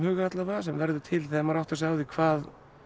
alla vega sem verður til þegar maður áttar sig á því hvað